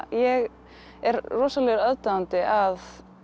ég er rosalegur aðdáandi að